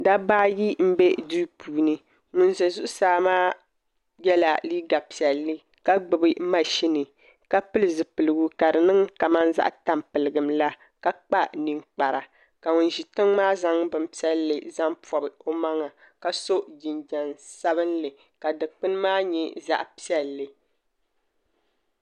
Dabba ayi n bɛ duu puuni ŋun bɛ zuɣusaa maa yɛla liiga piɛlli ka gbubi mashini ka pili zipiligu ka di niŋ kamani zaɣ tampilim la ka kpa ninkpara ka ŋun ʒi tiŋ maa zaŋ bin piɛlli zaŋ pobi o maŋa ka so jinjɛm sabinli ka dikpuni maa nyɛ zaɣ piɛlli